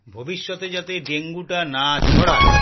ভবিষ্যতে যাতে dengue না ছড়ায়